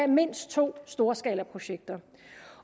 mindst to storskalaprojekter